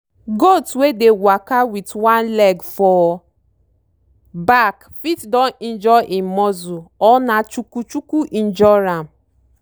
goat wey dey waka wit one leg for back fit don injure im muscle or na chuku chuku injure am.